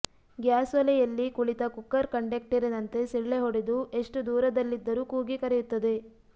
ಗ್ಯಾಸೊಲೆಯಲ್ಲಿ ಕುಳಿತ ಕುಕ್ಕರ್ ಕಂಡೆಕ್ಟರಿನಂತೆ ಸಿಳ್ಳೆಹೊಡೆದು ಎಷ್ಟು ದೂರದಲ್ಲಿದ್ದರೂ ಕೂಗಿ ಕರೆಯುತ್ತದೆ